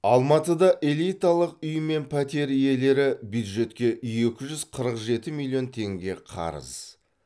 алматыда элиталық үй мен пәтер иелері бюджетке екі үз қырық жеті миллион теңге қарыз